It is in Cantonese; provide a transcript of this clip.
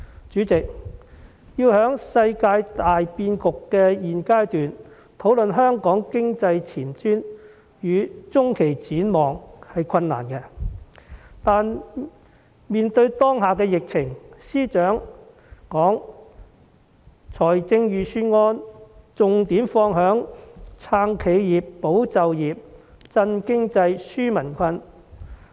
主席，在現階段的世界大變局討論香港經濟前瞻與中期展望是困難的，但面對當前的疫情，司長把預算案的重點放在"撐企業，保就業，振經濟，紓民困"。